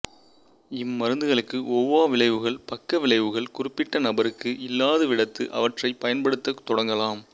இம்மருந்துகளுக்கு ஒவ்வா விளைவுகள் பக்க விளைவுகள் குறிப்பிட்ட நபருக்கு இல்லாதவிடத்து அவற்றைப் பயன்படுத்தத் தொடங்கலாம்